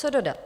Co dodat?